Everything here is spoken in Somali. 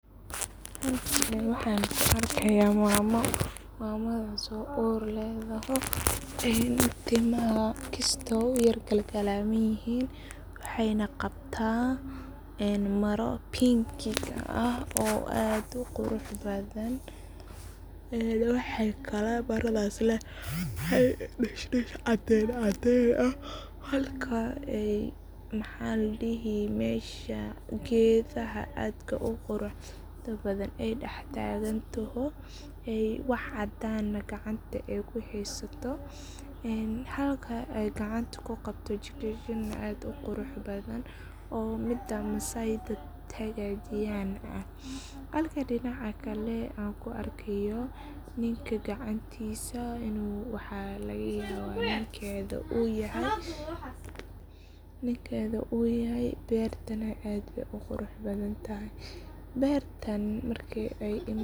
Halkan waxan ku arkaya mamo. Mamadas oo uur leh kisto timaha u yar galamanyihin, waxayna qabta maraa pinkiga ah oo aad u qurux badan waxayna kalo maradhas ledahay daash daash cabin ah halka mesha maxa ladihi gedaha aadka u qurux badan ay dax tagan taho wax cadana gacanta kuheysato. Halka ay gacanta ku qabto jijin aad u qurux badan ee midaa masayga hagajiyan ah. Halka dinaca kale an ku arkayo ninka gacantisa aa laga yabo ninkeda u yahay beertana aad bey u qurux badan tahay beertan marki ay.